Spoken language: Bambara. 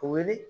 Wele